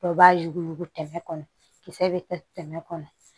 Dɔw b'a yuguyugu tɛmɛ kɔnɔ kisɛ bɛ kɛ tɛmɛ kɔnɔ